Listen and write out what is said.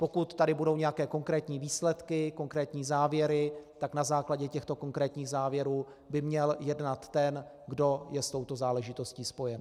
Pokud tady budou nějaké konkrétní výsledky, konkrétní závěry, tak na základě těchto konkrétních závěrů by měl jednat ten, kdo je s touto záležitostí spojen.